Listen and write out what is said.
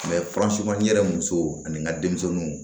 yɛrɛ musow ani n ka denmisɛnninw